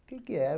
O que é que era?